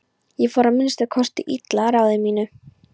Ég fór að minnsta kosti illa að ráði mínu.